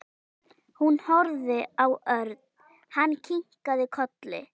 Hún horfði á Örn. Hann kinkaði kolli.